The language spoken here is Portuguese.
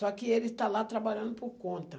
Só que ele está lá trabalhando por conta.